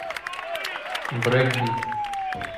брейкбит